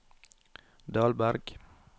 Dahlberg